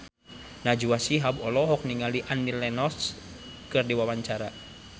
Najwa Shihab olohok ningali Annie Lenox keur diwawancara